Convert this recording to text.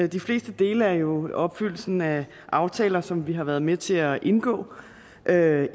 de fleste dele er jo om opfyldelsen af aftaler som vi har været med til at indgå ja